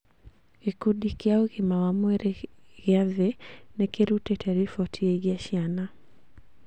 Gĩkundi kĩa ũgima wa mwĩrĩ gĩa thĩ nĩkĩrutĩte riboti ĩgiĩ ciana